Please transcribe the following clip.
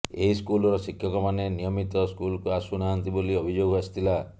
ଏହି ସ୍କୁଲର ଶିକ୍ଷକମାନେ ନିୟମିତ ସ୍କୁଲକୁ ଆସୁ ନାହାଁନ୍ତି ବୋଲି ଅଭିଯୋଗ ଆସିଥିଲା